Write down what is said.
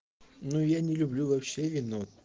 ну я не люблю вообще вино